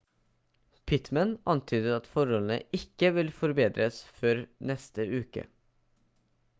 pittmann antydet at forholdene ikke vil forbedres før neste uke